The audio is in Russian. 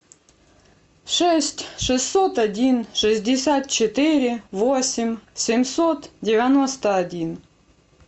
шесть шестьсот один шестьдесят четыре восемь семьсот девяносто один